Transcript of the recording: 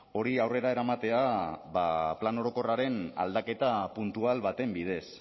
hori aurrera eramatea ba plan orokorraren aldaketa puntual baten bidez